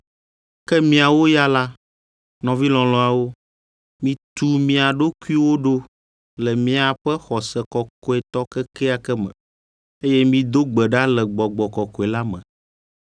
Ke miawo ya la, nɔvi lɔlɔ̃awo, mitu mia ɖokuiwo ɖo le miaƒe xɔse kɔkɔetɔ kekeake me, eye mido gbe ɖa le Gbɔgbɔ Kɔkɔe la me.